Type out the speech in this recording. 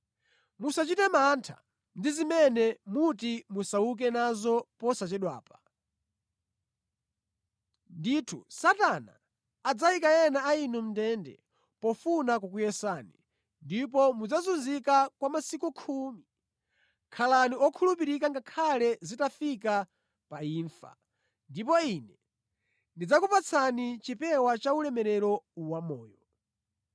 Musachite mantha ndi zimene muti musauke nazo posachedwapa. Ndithu, Satana adzayika ena a inu mʼndende pofuna kukuyesani, ndipo mudzazunzika kwa masiku khumi. Khalani okhulupirika ngakhale zitafika pa imfa, ndipo Ine ndidzakupatsani chipewa cha ulemerero wamoyo.